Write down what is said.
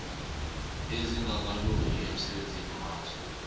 ezingakalungi emsebenzini waso